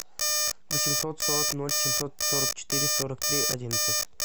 восемьсот сорок ноль семьсот сорок четыре сорок три одиннадцать